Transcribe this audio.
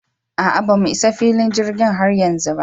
A'a bamu Isa filin jirgin har yanzu ba